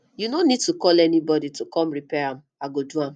you no need to call anybody to come repair am i go do am